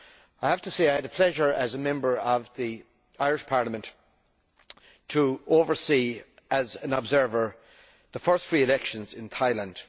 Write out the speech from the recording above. I have to say that I had the pleasure as a Member of the Irish Parliament of overseeing as an observer the first free elections in Thailand.